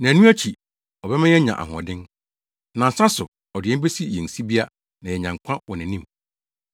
Nnaanu akyi, ɔbɛma yɛanya ahoɔden; nansa so, ɔde yɛn besi yɛn sibea na yɛanya nkwa wɔ nʼanim.